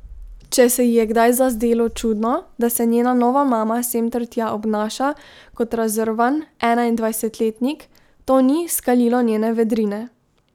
Če se ji je kdaj zazdelo čudno, da se njena nova mama sem ter tja obnaša kot razrvan enaindvajsetletnik, to ni skalilo njene vedrine.